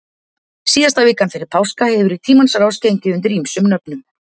síðasta vikan fyrir páska hefur í tímans rás gengið undir ýmsum nöfnum